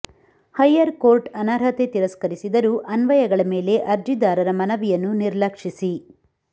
higher court ಅನರ್ಹತೆ ತಿರಸ್ಕರಿಸಿದರು ಅನ್ವಯಗಳ ಮೇಲೆ ಅರ್ಜಿದಾರರ ಮನವಿಯನ್ನು ನಿರ್ಲಕ್ಷಿಸಿ